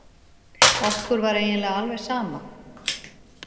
Okkur var eiginlega alveg sama.